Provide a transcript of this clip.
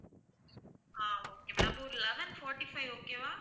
ஆஹ் okay madam அப்போ ஒரு eleven fourty-five okay வா